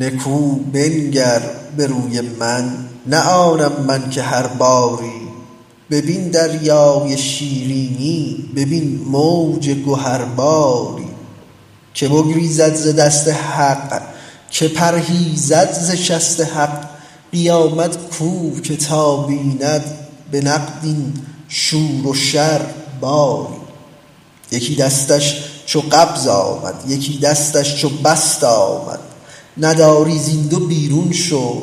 نکو بنگر به روی من نه آنم من که هر باری ببین دریای شیرینی ببین موج گهر باری کی بگریزد ز دست حق کی پرهیزد ز شست حق قیامت کو که تا بیند به نقد این شور و شر باری یکی دستش چو قبض آمد یکی دستش چو بسط آمد نداری زین دو بیرون شو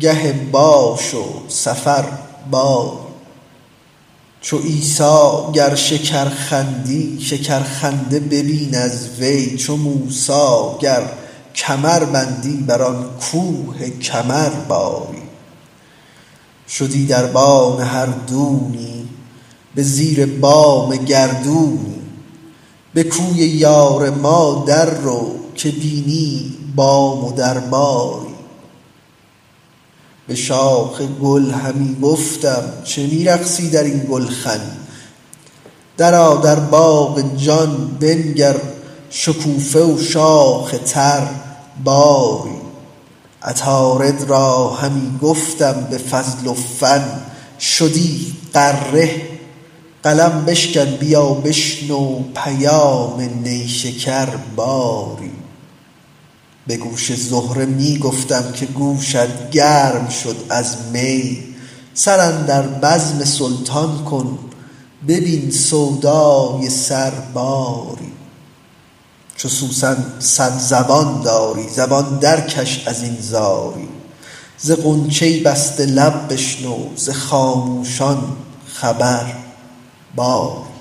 گه باش و سفر باری چو عیسی گر شکر خندی شکرخنده ببین از وی چو موسی گر کمر بندی بر آن کوه کمر باری شدی دربان هر دونی به زیر بام گردونی به کوی یار ما دررو که بینی بام و در باری به شاخ گل همی گفتم چه می رقصی در این گلخن درآ در باغ جان بنگر شکوفه و شاخ تر باری عطارد را همی گفتم به فضل و فن شدی غره قلم بشکن بیا بشنو پیام نیشکر باری به گوش زهره می گفتم که گوشت گرم شد از می سر اندر بزم سلطان کن ببین سودای سر باری چو سوسن صد زبان داری زبان درکش از این زاری ز غنچه بسته لب بشنو ز خاموشان خبر باری